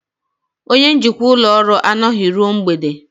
Onye njikwa ụlọ ọrụ anọghị ruo mgbede